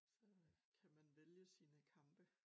Så øh kan mn vælge sine kampe